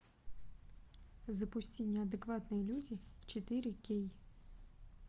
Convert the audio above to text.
запусти неадекватные люди четыре кей